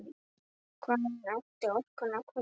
Hvaðan ætti orkan að koma?